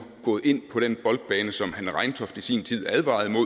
gået ind på den bane som hanne reintoft i sin tid advarede mod